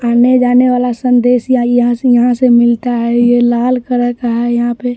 आने जाने वाला संदेश या यहां से यहां से मिलता है ये लाल कलर का है यहां पे।